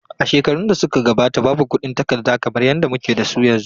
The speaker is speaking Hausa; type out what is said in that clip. A shekarun da suka gabata, babu kuɗin takarda kamar yadda muke da su yanzu.